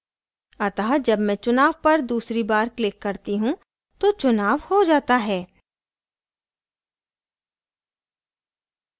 अतः जब मैं चुनाव पर दूसरी बार click करती हूँ तो चुनाव हो जाता है